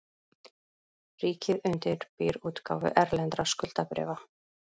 Ríkið undirbýr útgáfu erlendra skuldabréfa